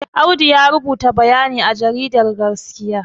Audu ya rubuta bayani a jaridar gaskiya